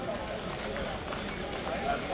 Rəsmiyyəyə dəyir.